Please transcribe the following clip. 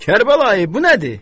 Kərbəlayı, bu nədir?